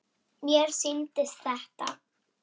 Mér sýndist þetta.